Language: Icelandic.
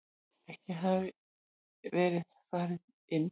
Ekki hafði verið farið inn.